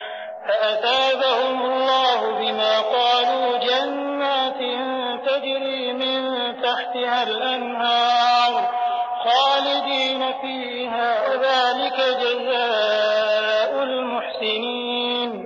فَأَثَابَهُمُ اللَّهُ بِمَا قَالُوا جَنَّاتٍ تَجْرِي مِن تَحْتِهَا الْأَنْهَارُ خَالِدِينَ فِيهَا ۚ وَذَٰلِكَ جَزَاءُ الْمُحْسِنِينَ